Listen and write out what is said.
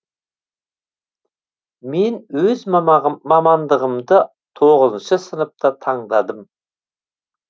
мен өз мамандығымды тоғызыншы сыныпта таңдадым